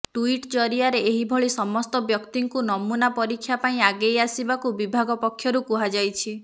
tweet ଜରିଆରେ ଏହି ଭଳି ସମସ୍ତ ବ୍ୟକ୍ତିଙ୍କୁ ନମୁନା ପରୀକ୍ଷା ପାଇଁ ଆଗେଇ ଆସିବାକୁ ବିଭାଗ ପକ୍ଷରୁ କୁହାଯାଇଛି